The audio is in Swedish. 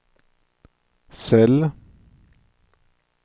cell